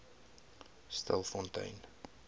stilfontein